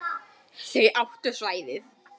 Þau áttu svæðið.